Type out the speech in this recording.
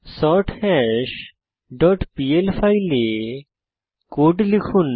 সর্থাশ dot PL ফাইলে code লিখুন